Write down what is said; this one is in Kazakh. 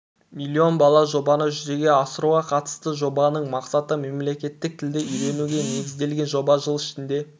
млн бала жобаны жүзеге асыруға қатысты жобаның мақсаты мемлекеттік тілді үйренуге негізделген жоба жыл ішінде